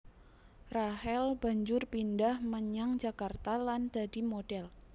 Rachel banjur pindhah menyang Jakarta lan dadi modhèl